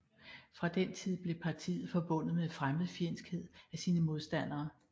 Fra den tid blev partiet forbundet med fremmedfjendskhed af sine modstandere